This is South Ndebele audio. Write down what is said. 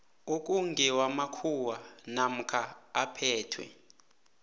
okungewamakhuwa namkha aphethwe